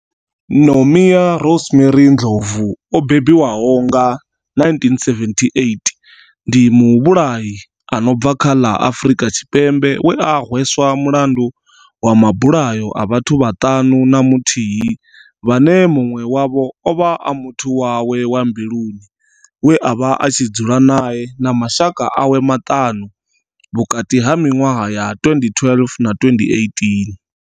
Nomia Rosemary Ndlovu o bebiwaho nga 1978 ndi muvhulahi a no bva kha ḽa Afurika Tshipembe we a hweswa mulandu wa mabulayo a vhathu vhaṱanu na muthihi vhane munwe wavho ovha a muthu wawe wa mbiluni we avha a tshi dzula nae na mashaka awe maṱanu vhukati ha minwaha ya 2012 na 2018.